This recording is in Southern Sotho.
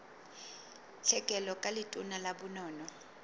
tlhekelo ka letona la bonono